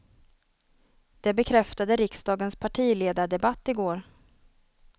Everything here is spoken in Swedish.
Det bekräftade riksdagens partiledardebatt i går.